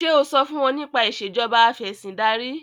ṣe o so fún wón nípa Ìṣèjọba Afẹ̀sìndarí?